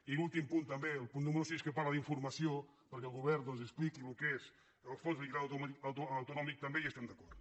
i en l’últim punt també el punt número sis que parla d’informació perquè el govern expliqui el que és el fons de liquiditat autonòmic també hi estem d’acord